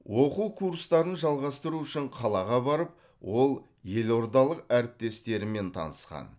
оқу курстарын жалғастыру үшін қалаға барып ол елордалық әріптестерімен танысқан